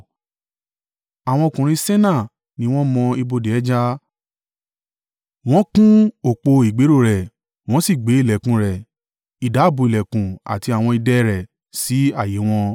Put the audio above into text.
Àwọn ọkùnrin Senaa ni wọ́n mọ ibodè ẹja. Wọ́n kún ọ̀pọ̀ ìgbéró rẹ̀, wọ́n sì gbé ìlẹ̀kùn rẹ̀, ìdábùú ìlẹ̀kùn àti àwọn ìdè e rẹ̀ sí ààyè e wọn.